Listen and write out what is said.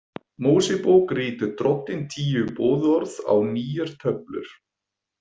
Mósebók ritar Drottinn tíu boðorð á nýjar töflur.